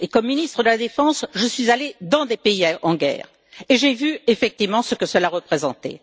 Comme ministre de la défense, je suis allée dans des pays en guerre et j'ai vu effectivement ce que cela représentait.